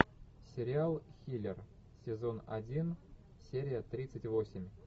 сериал хилер сезон один серия тридцать восемь